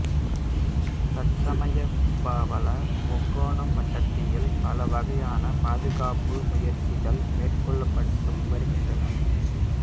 தற்சமயம் பவள முக்கோண வட்டாரத்தில் பல வகையான பாதுகாப்பு முயற்சிகள் மேற்கொள்ளப்பட்டு வருகின்றன